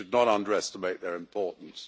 We should not underestimate their importance.